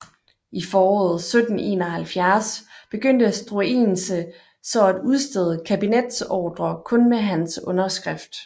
I foråret 1771 begyndte Struensee så at udstede kabinetsordrer kun med hans underskrift